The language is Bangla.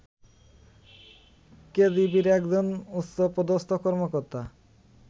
কেজিবির একজন উচ্চপদস্থ কর্মকর্তা